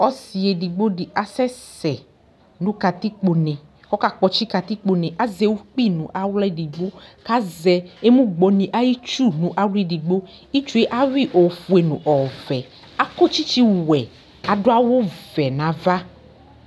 Ɔsɩ edigbo dɩ asɛsɛ nʋ katikpone Ɔkakpɔtsɩ katikpone Azɛ ukpi nʋ aɣla edigbo kʋ azɛ emugbɔnɩ ayʋ itsu nʋ aɣla edigbo Itsu yɛ ayʋɩ yɩ ofue nʋ ɔvɛ Akɔ tsɩtsɩwɛ kʋ adʋ awʋvɛ nʋ ava